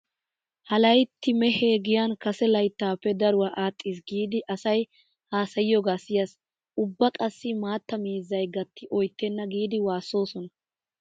Ha laytti mehee giyan kase layttaappe daruwa adhdhiis giidi asay haasayiyoogaa siyaasi. Ubba qassi maatta miizzay gatti oyttenna giidi waassoosona.